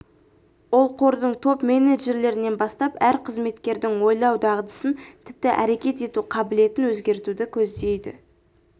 ол қордың топ менеджерлерінен бастап әр қызметкердің ойлау дағдысын тіпті әрекет ету қабілетін өзгертуді көздейді